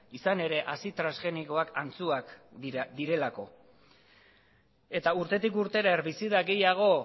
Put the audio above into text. izan ere hazi transgenikoak antzuak direlako eta urtetik urtera herbizida gehiago